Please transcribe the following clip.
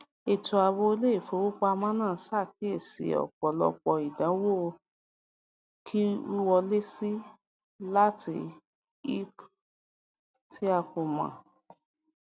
ètò ààbò iléìfowópamọ náà ṣàkíyèsí ọpọlọpọ ìdánwò wíwọlésí láti ip tí a kò mọ